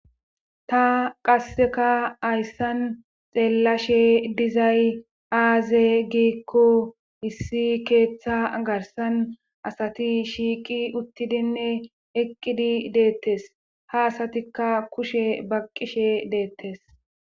Ta qasseka hayssan xeellashe dizay aaze giikko issi keethaa garssan asati shiiqi uttidinne eqqidi deettes ha asatikka kushe baqqishe deettes.